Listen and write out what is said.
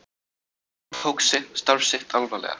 Magnús tók starf sitt alvarlega.